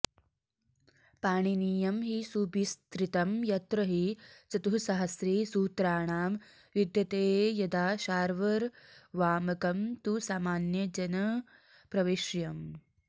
पाणिनीयं हि सुविस्तृतं यत्र हि चतुःसाहस्री सूत्राणां विद्यते यदा शार्वर्वामकं तु सामान्यजनप्रवेश्यम्